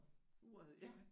Uret ja